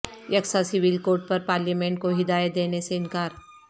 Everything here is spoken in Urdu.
یکساں سیول کوڈ پر پارلیمنٹ کو ہدایت دینے سے انکار